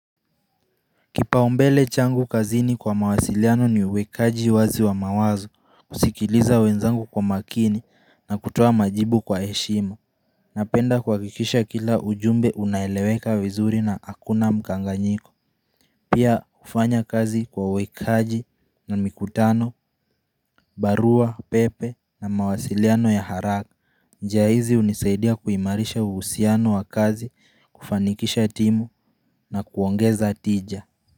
Kipaombele changu kazini kwa mawasiliano ni uwekaji wazi wa mawazo kusikiliza wenzangu kwa makini na kutoa majibu kwa eshimo Napenda kwa kikisha kila ujumbe unaeleweka vizuri na hakuna mkanganyiko Pia ufanya kazi kwa uwekaji na mikutano, barua, pepe na mawasiliano ya haraka njia zi unisaidia kuimarisha uusiano wa kazi kufanikisha timu na kuongeza tija.